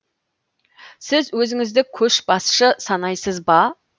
сіз өзіңізді көшбасшы санайсыз ба